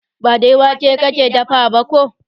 Ba dai wake ka dafa ba ko?